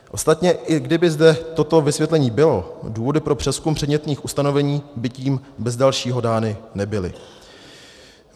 Ostatně, i kdyby zde toto vysvětlení bylo, důvody pro přezkum předmětných ustanovení by tím bez dalšího dány nebyly.